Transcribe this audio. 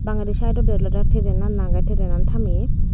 bangede sidodi olode train an age train an tameye.